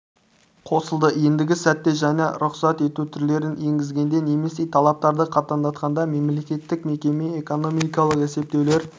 қосылды ендігі сәтте жаңа рұқсат ету түрлерін енгізгенде немесе талаптарды қатаңдатқанда мемлекеттік мекеме экономикалық есептеулер